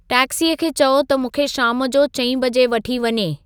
taxi खे चओ त मूंखे शाम जो चईं बजे वठी वञे